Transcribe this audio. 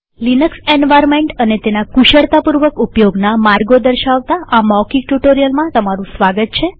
Linux environment અને તેના કુશળતાપૂર્વક ઉપયોગના માર્ગો દર્શાવતા આ મૌખિક ટ્યુ્ટોરીઅલમાં સ્વાગત છે